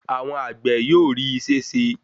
Àwọn àgbè yóò rí isé se.